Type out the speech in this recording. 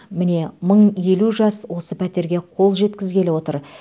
міне мың елу жас осы пәтерге қол жеткізгелі отыр